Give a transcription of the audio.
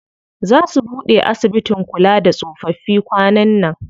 Zaa su buɗe asibitin kula da tsofaffi kwanan nan.